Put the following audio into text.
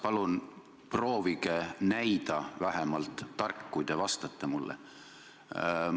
Palun proovige vähemalt näida tark, kui te vastate mulle.